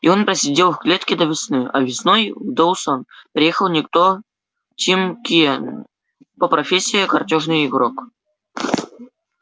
и он просидел в клетке до весны а весной в доусон приехал некто тим кинен по профессии картёжный игрок